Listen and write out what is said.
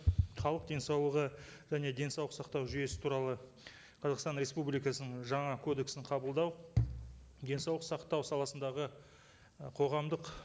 халық денсаулығы және денсаулық сақтау жүйесі туралы қазақстан республикасының жаңа кодексін қабылдау денсаулық сақтау саласындағы і қоғамдық